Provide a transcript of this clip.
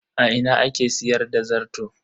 A ina ake siyar da zarto?